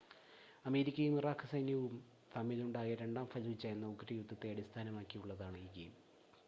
അമേരിക്കയും ഇറാഖ് സൈന്യവും തമ്മിൽ ഉണ്ടായ രണ്ടാം ഫലൂജ എന്ന ഉഗ്ര യുദ്ധത്തെ അടിസ്ഥാനമാക്കിയുള്ളതാണ് ഈ ഗെയിം